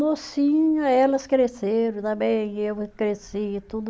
mocinha, elas cresceram também, eu cresci e tudo.